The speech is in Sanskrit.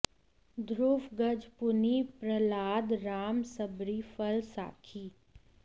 ध्रुव गज पुनि प्रह्लाद राम सबरी फल साखी